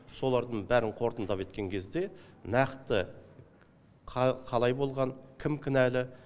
солардың бәрін қорытындылап өткен кезде нақты қалай болған кім кінәлі